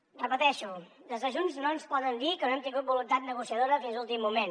ho repeteixo des de junts no ens poden dir que no hem tingut voluntat negociadora fins a l’últim moment